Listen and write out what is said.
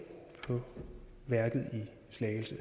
co